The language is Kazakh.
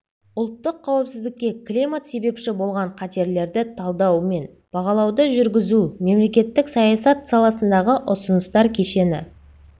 ұлттық қауіпсіздікке климат себепші болған қатерлерді талдау мен бағалауды жүргізу мемлекеттік саясат саласындағы ұсыныстар кешені